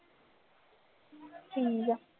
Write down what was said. ਠੀਕ ਹੈ